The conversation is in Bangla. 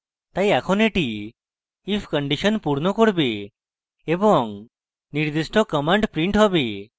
তাই এখন এটি if condition পূর্ণ করবে এবং নির্দিষ্ট কমান্ড printed হবে